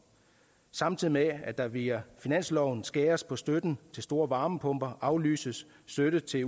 samtidig med at der via finansloven skæres på støtten til store varmepumper aflyses støtte til